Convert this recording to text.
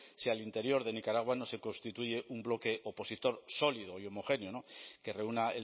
si al interior de nicaragua no se constituye un bloque opositor sólido y homogéneo que reúna